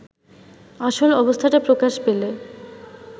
আসল অবস্থাটা প্রকাশ পেলে